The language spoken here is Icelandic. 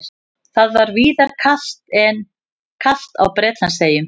Það var víðar kalt á Bretlandseyjum